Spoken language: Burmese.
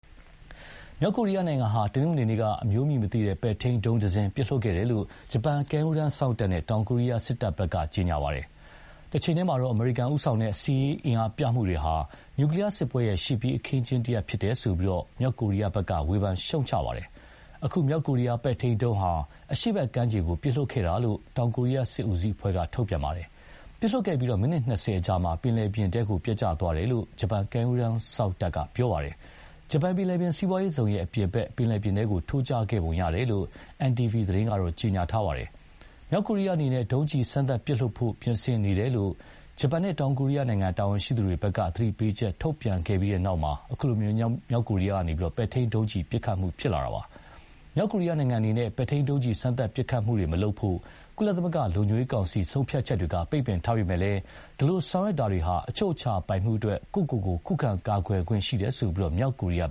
မြောက်ကိုရီးယားဟာ တနင်္ဂနွေနေ့က အမျိုးအမည်မသိ ပဲ့ထိန်းဒုံးတစင်းပစ်လွှတ်ခဲ့တယ်လို့ ဂျပန်ကမ်းရိုးတန်းစောင့်နဲ့ တောင်ကိုရီးယားစစ်တပ်က ပြောပါတယ်။ တချိန်တည်းမှာတော့ အမေရိကန်ဦးဆောင်တဲ့ စစ်ရေးအင်အားပြမှုတွေဟာ နျူကလီယားစစ်ပွဲရဲ့ ရှေ့ပြေးအခင်းအကျင်းတရပ်ဖြစ်တယ်ဆိုပြီး မြောက်ကိုရီယားဘက်က ဝေဖန်ရှုတ်ချခဲ့ပါတယ်။ အခု မြောက်ကိုရီးယားပဲ့ထိန်းဒုံးဟာ အရှေ့ဘက်ကမ်းခြေကို ပစ်လွှတ်ခဲ့တာလို့ တောင်ကိုရီးယားစစ်ဦးစီးအဖွဲ့က ပြောပါတယ်။ ပစ်လွှတ်ခဲ့ပြီး မိနစ် ၂၀အကြာမှာ ပင်လယ်ပြင်ထဲပျက်ကျသားတယ်လို့ ဂျပန်ကမ်းရိုးတန်းစောင့်တပ်က ပြောပါတယ်။ ဂျပန်ပင်လယ်ပြင်စီးပွားရေးဇုံအပြင်ဘက် ပင်လယ်ပြင်ထဲ ထိုးကျခဲ့ပုံရတယ်လို့ NTV သတင်းက ကြေညာခဲ့ပါတယ်။ မြောက်ကိုရီးယားအနေနဲ့ ဒုံးကျည်စမ်းသပ်ပစ်လွှတ်ဖို့ ပြင်ဆင်နေတယ်လို့ ဂျပန်နဲ့ တောင်ကိုရီးယားတာဝန်ရှိသူတွေက သတိပေးချက်ထုတ်ပြန်ပြီးနောက် အခုလို မြောက်ကိုရီးယားက ပဲ့ထိန်းဒုံးကျည် ပစ်ခတ်မှုဖြစ်လာတာပါ။ မြောက်ကိုရီယားအနေနဲ့ ပဲ့ထိန်းဒုံးကျည်စမ်းသပ်ပစ်ခတ်မှုတွေမလုပ်ဖို့ ကုလသမဂ္ဂလုံခြုံရေးကောင်စီဆုံးဖြတ်ချက်တွေက ပိတ်ပင်ထားပေမယ့်လည်း ဒီလိုဆောင်ရွက်တာတွေဟာ အချုပ်အခြာပိုင်မှုအတွက် ကိုယ့်ကိုကိုယ်ခုခံကာကွယ်တာဖြစ်တယ်လို့ မြောက်ကိုရီးယား